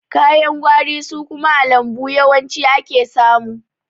Ka yan gwari su kuma a lambu yawanci ake samu.